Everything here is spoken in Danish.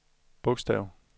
bogstav